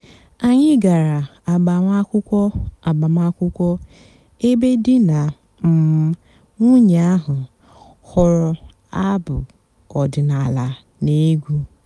ányị́ gàrà àgbàmàkwụ́kwọ́ àgbàmàkwụ́kwọ́ èbé dì nà um nwùnyé àhú́ họ́rọ́ àbụ́ ọ̀dị́náàlà nà- ègwú.